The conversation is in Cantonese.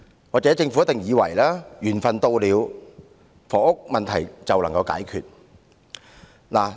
或許政府以為緣份到了，房屋問題便會解決。